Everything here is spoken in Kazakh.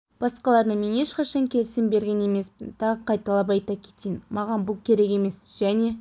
басқаларына мен ешқашан келісім берген емеспін тағы қайталап айта кетейін маған бұл керек емес және